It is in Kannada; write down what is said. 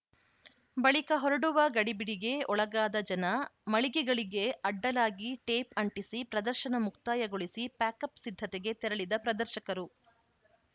ಬಳಿಕ ಹೊರಡುವ ಗಡಿಬಿಡಿಗೆ ಒಳಗಾದ ಜನ ಮಳಿಗೆಗಳಿಗೆ ಅಡ್ಡಲಾಗಿ ಟೇಪ್‌ ಅಂಟಿಸಿ ಪ್ರದರ್ಶನ ಮುಕ್ತಾಯಗೊಳಿಸಿ ಪ್ಯಾಕಪ್‌ ಸಿದ್ಧತೆಗೆ ತೆರಳಿದ ಪ್ರದರ್ಶಕರು